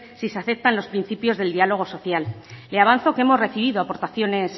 si se aceptan los principios del diálogo social le avanzo que hemos recibido aportaciones